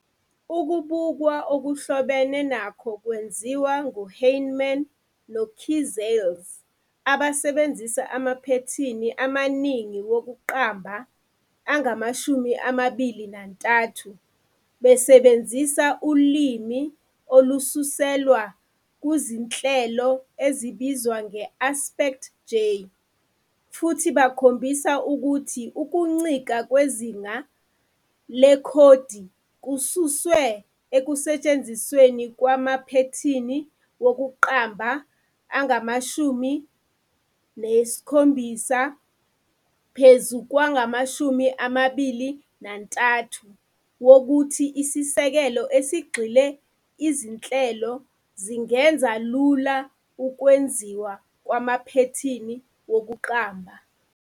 Ukubukwa okuhlobene nakho kwenziwa nguHannemann noKiczales abasebenzise amaphethini amaningi wokuqamba angama-23 besebenzisa ulimi olususelwa kuzinhleloezibizwa nge-AspectJ, futhi bakhombisa ukuthi ukuncika kwezinga lekhodi kususwe ekusetshenzisweni kwamaphethini wokuqamba we-17 kwayi-23 nokuthi isisekelo-esigxile izinhlelo zingenza lula ukwenziwa kwamaphethini wokuqamba.